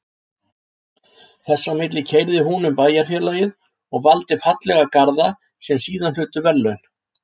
Þess á milli keyrði hún um bæjarfélagið og valdi fallega garða sem síðan hlutu verðlaun.